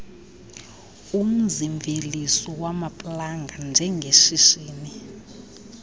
umzimveliso wamaplanga njengeshishini